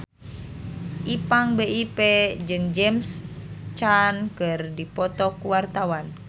Ipank BIP jeung James Caan keur dipoto ku wartawan